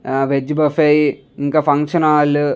ఆహ్ veg buffet functional hall --